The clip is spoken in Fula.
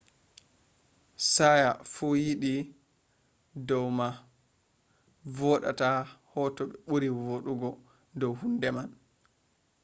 hsieh fu yeddi dow ma mo vodata ha hoto ɓuri vooɗugo dow hunde man